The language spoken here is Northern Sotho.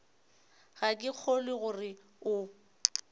ga ke kgolwe gore o